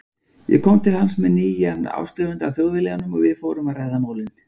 Ég kom til hans með nýjan áskrifanda að Þjóðviljanum og við fórum að ræða málin.